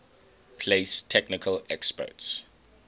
place technical experts